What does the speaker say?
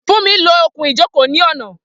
Funmi lo okùn-ìjókòó ní ọ̀nà.